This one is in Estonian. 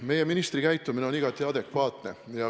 Meie ministri käitumine on igati adekvaatne.